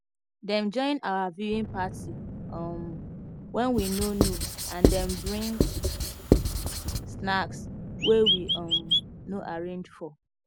them join our viewing party um when we no know and them bring snacks wey we um no arrange for